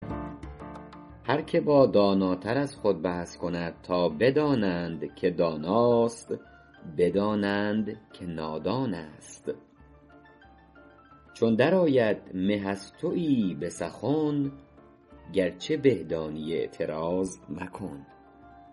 هر که با داناتر از خود بحث کند تا بدانند که داناست بدانند که نادان است چون در آید مه از تویی به سخن گرچه به دانی اعتراض مکن